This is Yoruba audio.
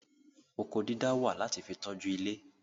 Oko dídá wà láti fi tọ́jú ilé